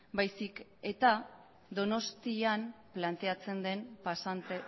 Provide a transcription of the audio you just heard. baizik eta donostian planteatzen den pasante